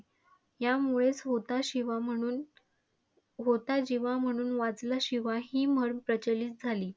यामुळेच होता शिवा म्हणून, होता जिवा म्हणून वाचला शिवा ही म्हण प्रचलित झाली.